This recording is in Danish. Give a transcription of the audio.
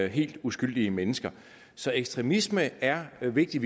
helt uskyldige mennesker så ekstremisme er vigtig